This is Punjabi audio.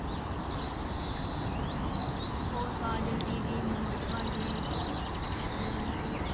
ਹੋਰ ਕਾਜਲ ਦੀਦੀ ਮੋਹਿਤ ਭਾਜੀ ਹੋਰ